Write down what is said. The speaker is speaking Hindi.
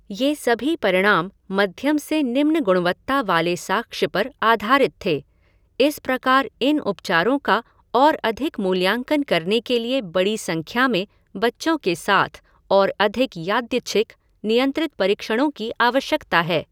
ये सभी परिणाम मध्यम से निम्न गुणवत्ता वाले साक्ष्य पर आधारित थे, इस प्रकार इन उपचारों का और अधिक मूल्यांकन करने के लिए बड़ी संख्या में बच्चों के साथ और अधिक यादृच्छिक, नियंत्रित परीक्षणों की आवश्यकता है।